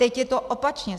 Teď je to opačně.